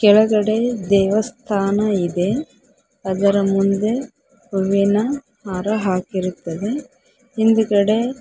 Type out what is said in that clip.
ಕೆಳಗಡೆ ದೇವಸ್ಥಾನ ಇದೆ ಅದರ ಮುಂದೆ ಹೂವಿನ ಹಾರ ಹಾಕಿರುತ್ತದೆ ಹಿಂದುಗಡೆ--